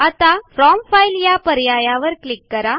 आता from file या पर्यायावर क्लिक करा